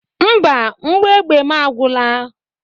Mba, mgbọ egbe mụ agwụla.